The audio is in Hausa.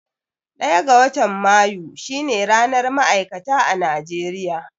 Ɗaya ga watan Mayu shine ranar ma'aikata a Najeriya.